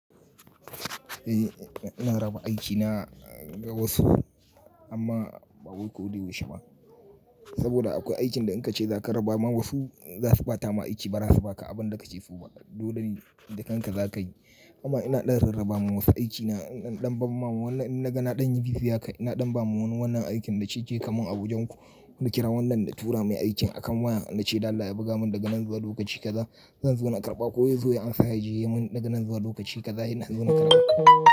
Eh ina raba aikina ga wasu amma ba wai koda yaushe ba. Saboda akwai aikin da in ka ce za ka raba ma wasu za su ba ta ma aiki ba, ba su ba ka abin da ka ce su ba. Dole ne da kanka za ka yi. Amma ina ɗan rarraba ma wasu aikina, ina ɗan ban ma wannan. In na ga na ɗan yi bisi haka, ina ɗan ba ma wannan aikin na ce, je kamun a wajenku." Na kira wannan na tura mai aikin akan waya na ce, "da Allah ya buga mun da ganan zuwa lokaci kaza zan zo na karɓa, ko ya zo ya ansa ya je yamun da ganan zuwa lokaci kaza inna zan zo na karɓa."